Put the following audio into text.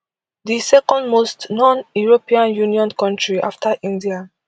di second most noneuropean union kontri afta india